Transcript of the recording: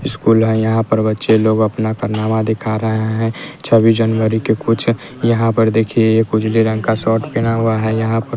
school है यहां पर बच्चे लोग अपना कारनामा दिखा रहे हैं छब्बीस जनवरी के कुछ यहां पर देखिए ये कुछ उजले रंग का शर्ट पहना हुआ है यहां पर--